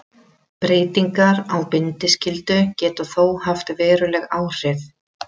Breytingar á bindiskyldu geta þó haft veruleg áhrif.